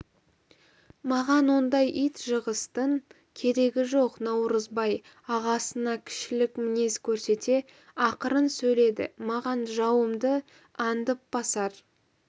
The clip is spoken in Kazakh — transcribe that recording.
маған ондай ит-жығыстың керегі жоқ наурызбай ағасына кішілік мінез көрсете ақырын сөйледі маған жауымды аңдып басар